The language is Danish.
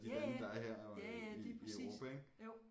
Ja ja ja ja lige præcis jo